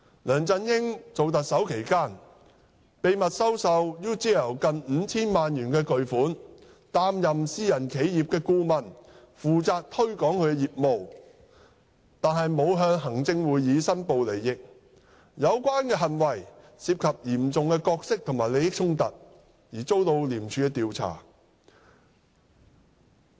梁振英擔任特首期間，秘密收受 UGL 近 5,000 萬元巨款，擔任私人企業顧問，負責推廣業務，但並無向行政會議申報利益，有關行為涉及嚴重的角色和利益衝突而遭受廉署調查。